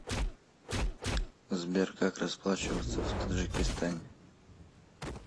сбер как расплачиваться в таджикистане